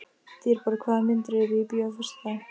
Dýrborg, hvaða myndir eru í bíó á föstudaginn?